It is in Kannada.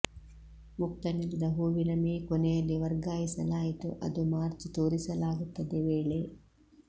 ಮುಕ್ತ ನೆಲದ ಹೂವಿನ ಮೇ ಕೊನೆಯಲ್ಲಿ ವರ್ಗಾಯಿಸಲಾಯಿತು ಅದು ಮಾರ್ಚ್ ತೋರಿಸಲಾಗುತ್ತದೆ ವೇಳೆ